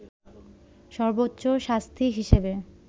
সর্বোচ্চ শাস্তি হিসেবে